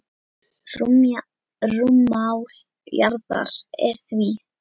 Rúmmál jarðar er því